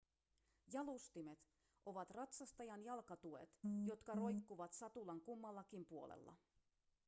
jalustimet ovat ratsastajan jalkatuet jotka roikkuvat satulan kummallakin puolella